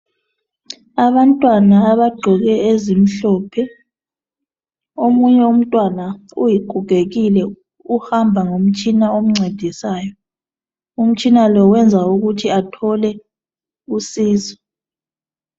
Abantwana abagqoke ezimhlophe. Omunye umntwana ugogekile, uhamba ngomtshina omncedisayo. Umtshina lo wenza ukuthi athole usizo.